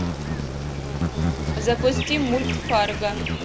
запусти мульт фарго